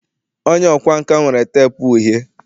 onye ọkwá nkà nwere teepu uhie